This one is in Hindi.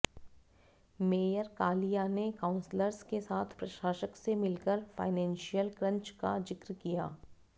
मेयर कालिया ने काउंसलर्स के साथ प्रशासक से मिलकर फाइनेंशियल क्रंच का जिक्र किया